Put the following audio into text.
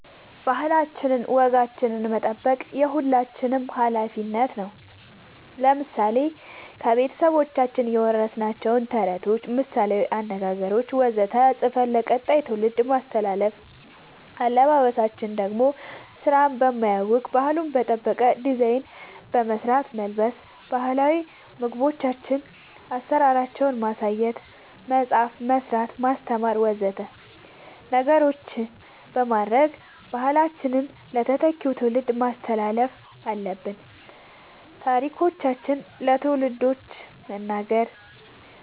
ባህላችን ወጋችን መጠበቅ የሁላችንም አላፊነት ነው ለምሳሌ ከቤተሰቦቻችን የወረስናቸውን ተረቶች ምሳላዊ አነገገሮች ወዘተ ፅፈን ለቀጣይ ትውልድ ማስተላለፍ አለበበሳችን ደሞ ስራን በማያውክ ባህሉን በጠበቀ ዲዛይን በመስራት መልበስ ባህላዊ ምግቦቻችን አሰራራቸውን ማሳየት መፅአፍ መስራት ማስተማር ወዘተ ነገሮች በማድረግ ባህላችንን ለተተኪው ትውልድ ማስተላለፍ አለብን ታሪኮቻችን ለልጆቻን መንገር